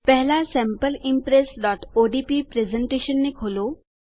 પહેલાં sample impressઓડીપી પ્રેઝેંટેશનને ખોલો